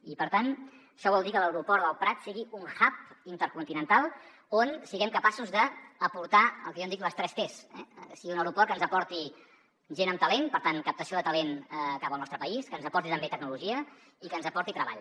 i per tant això vol dir que l’aeroport del prat sigui un huben dic les tres tes que sigui un aeroport que ens aporti gent amb talent per tant captació de talent cap al nostre país que ens aporti també tecnologia i que ens aporti treball